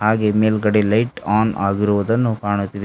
ಹಾಗೆ ಮೇಲ್ಗಡೆ light on ಆಗಿರುವುದನ್ನು ಕಾಣುತ್ತಿದೆ.